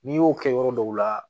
N'i y'o kɛ yɔrɔ dɔw la